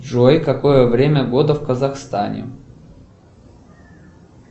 джой какое время года в казахстане